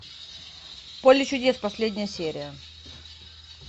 поле чудес последняя серия